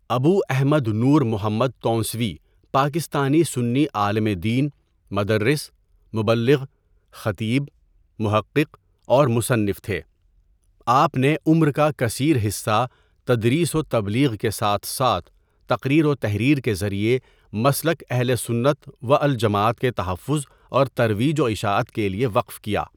ابو احمد نور محمد تونسوی پاکستانی سنی عالم دین، مدرس، مبلغ، خطیب، محقق اور مصنف تھے آپ نے عمر کا کثیر ،حصہ تدریس وتبلیغ کے ساتھ ساتھ تقریر و تحریر کے ذریعے مسلک اہلسنت والجماعت کے تحفظ اور ترویج و اشاعت کےلیے وقف کیا.